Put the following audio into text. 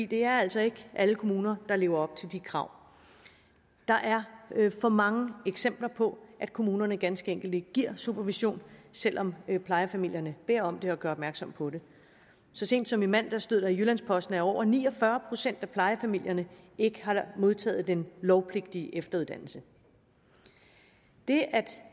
det er altså ikke alle kommuner der lever op til de krav der er for mange eksempler på at kommunerne ganske enkelt ikke giver supervision selv om plejefamilierne beder om det og gør opmærksom på det så sent som i mandags stod der i jyllands posten at over ni og fyrre procent af plejefamilierne ikke har modtaget den lovpligtige efteruddannelse det at